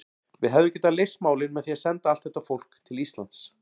Við hefðum getað leyst málin með því að senda allt þetta fólk til Íslands.